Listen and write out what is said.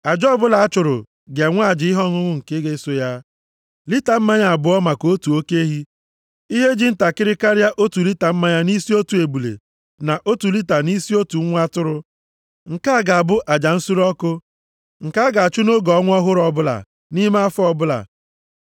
Aja ọbụla a chụrụ ga-enwe aja ihe ọṅụṅụ nke ga-eso ya, lita mmanya abụọ maka otu oke ehi, ihe ji ntakịrị karịa otu lita mmanya nʼisi otu ebule, na otu lita nʼisi otu nwa atụrụ. Nke a ga-abụ aja nsure ọkụ nke a ga-achụ nʼoge ọnwa ọhụrụ ọ bụla, nʼime afọ ọbụla,